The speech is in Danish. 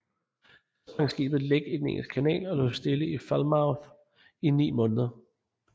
Så sprang skibet læk i den Engelske Kanal og lå stille i Falmouth i ni måneder